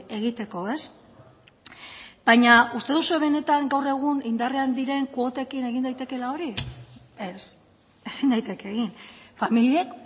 egiteko baina uste duzue benetan gaur egun indarrean diren kuotekin egin daitekeela hori ez ezin daiteke egin familiek